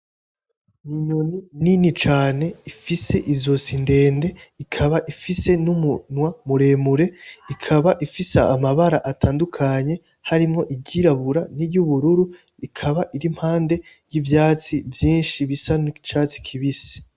N'inyoni nini cane ifise izosi ndende, ikaba ifise numunwa muremure, ikaba ifise amabara atandukanye harimwo iryirabura n'iryubururu, ikaba iri impande yivyatsi vyinshi bisa nicatsi kibisi.